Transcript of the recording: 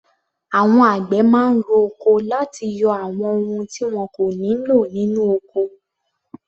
Àwọn àgbẹ̀ máa ń ro oko láti yọ àwọn ohun tí wọn kò nílò nínú ọkọ.